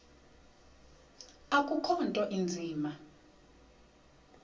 akukho nto inzima